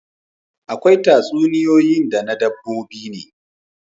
Akwai tatsuniyoyin na dabbobi ne